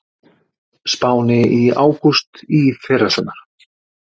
Spáni í ágúst í fyrrasumar.